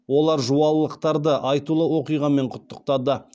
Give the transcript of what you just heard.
олар жуалылықтарды айтулы оқиғамен құттықтады